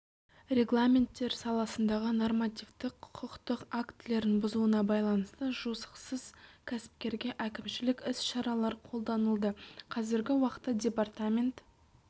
регламенттер саласындағы нормативтік құқықтық актілерін бұзуына байланысты жосықсыз кәсіпкерге әкімшілік іс-шаралар қолданылды қазіргі уақытта департамент